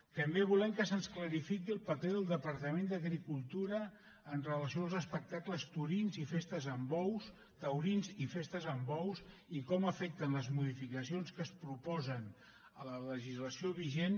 també volem que se’ns clarifiqui el paper del departament d’agricultura amb relació als espectacles taurins i festes amb bous i a com afecten les modificacions que es proposen a la legislació vigent